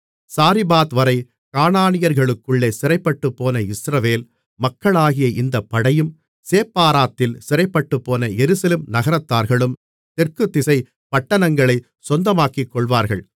சாரிபாத்வரை கானானியர்களுக்குள்ளே சிறைப்பட்டுப்போன இஸ்ரவேல் மக்களாகிய இந்தப் படையும் சேப்பாராத்தில் சிறைப்பட்டுப்போன எருசலேம் நகரத்தார்களும் தெற்குதிசைப் பட்டணங்களைச் சொந்தமாக்கிக்கொள்வார்கள்